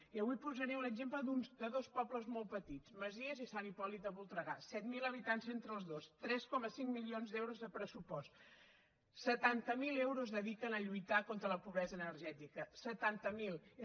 i avui posaré un exemple de dos pobles molt petits masies i sant hipòlit de voltregà set mil habitants entre els dos tres coma cinc milions d’euros de pressupost setanta miler euros dediquen a lluitar contra la pobresa energètica setanta miler